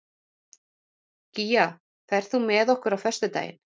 Gígja, ferð þú með okkur á föstudaginn?